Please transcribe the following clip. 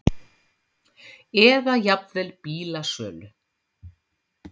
eða jafnvel bílasölu.